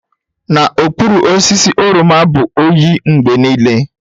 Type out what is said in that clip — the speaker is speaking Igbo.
N'okpuru osisi oroma bụ oyi mgbe niile.